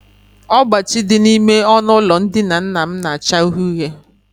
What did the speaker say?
Ọgbachi dị n'ime ọnụụlọ ndina nna m na-acha uhie uhie